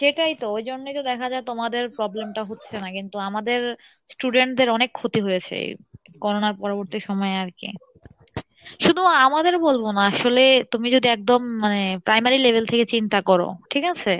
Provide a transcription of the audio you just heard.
সেটাই তো ওই জন্যই তো দেখা যাই তোমাদের problem টা হচ্ছে না কিন্তু আমাদের student দের অনেক ক্ষতি হয়েছে Corona র পরবর্তী সময়ে আর কী, শুধু আমাদের বলবো না আসলে তুমি যদি একদম মানে primary level থেকে চিন্তা করো ঠিক আছে?